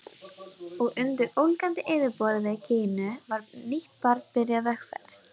Og undir ólgandi yfirborði Gínu var nýtt barn byrjað vegferð.